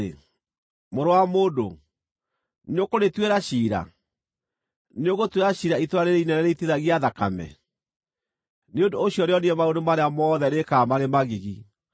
“Mũrũ wa mũndũ, nĩũkũrĩtuĩra ciira? Nĩũgũtuĩra ciira itũũra rĩĩrĩ inene rĩitithagia thakame? Nĩ ũndũ ũcio rĩonie maũndũ marĩa mothe rĩĩkaga marĩ magigi,